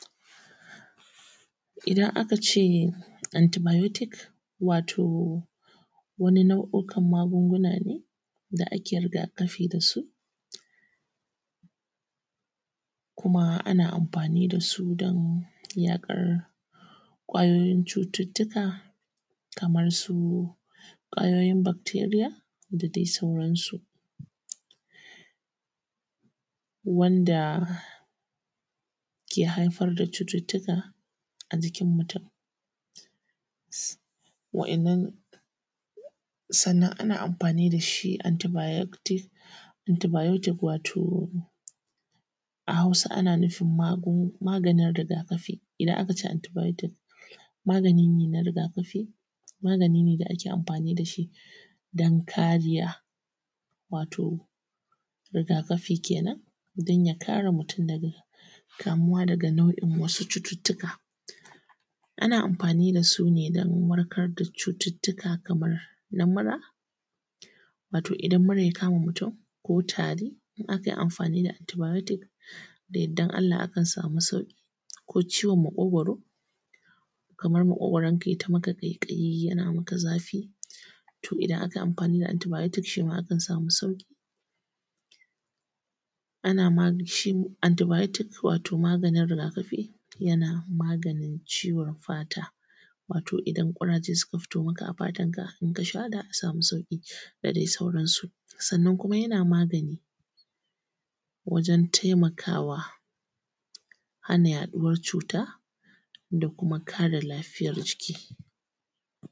idan aka se antibayotik wato wani nau’ukan maguŋguna ne da ake rigakaþi da su kuma ana amfani da su don yaƙ’ar k’wayoyin cututtuka kamar su k’wayoyin bakteriya, da dai saurasu wanda ke haifar da cututtuka a jikin mutum. Wa’innan, sannan ana amfani da shi antibayotik, antibayotik wato a Hausa ana nufin maganin rigakafi. Ida aka ce antibayotik, magani ne na rigakafi, magani ne da ake amfani da shi don kariya. Wato rigakafi kenan, din ya kare mutum daga nau’in wasu cututtuka. Ana amfani da su ne dan warkar da cututtuka kamar na mura, wato idan mura ya kama mutum ko tari, akan yi ammfani da antibayotik, da ya’dan Allah akan samu sauƙ’i, ko ciwon maƙ’ogoro, kamar maƙ’ogoronka yai ta maka ƙaiƙ’ayi, yana maka zafi. To idan aka yi amfani da antibayotik, to shi ma akan samu sauƙ’i. Ana magani shin antibayotik, wato maganin rigakafi, yana maganin ciwon fata wato idan ƙuraje suka fito maka a fatan ka, sha za ka sami sauƙ’i, da dai saurasu. Sannan kuma yana magani wajen taimakawa hana yaɗuwan cuta, da kuma kare lafiyan jiki.